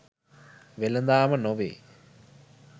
වෙලඳාම නොවේ